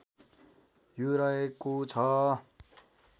यो रहेको छ